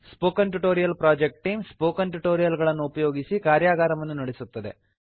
spoken tutorial project team spoken tutorial ಗಳನ್ನು ಉಪಯೋಗಿಸಿ ಕಾರ್ಯಗಾರವನ್ನು ನಡೆಸುತ್ತದೆ